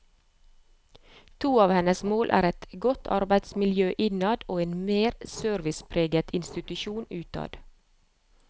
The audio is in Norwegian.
To av hennes mål er et godt arbeidsmiljø innad og en mer servicepreget institusjon utad.